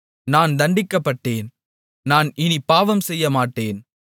நான் தண்டிக்கப்பட்டேன் நான் இனிப் பாவம் செய்யமாட்டேன்